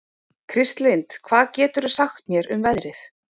Kristlind, hvað geturðu sagt mér um veðrið?